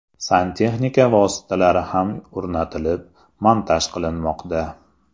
Santexnika vositalari ham o‘rnatilib, montaj qilinmoqda.